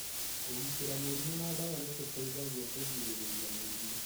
Kũgitĩra mũrimũ na dawa nĩ gũteithagia kũgirĩrĩria mũrimũ.